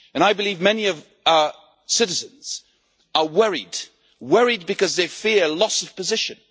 I believe many of our citizens are worried because they fear a loss of position.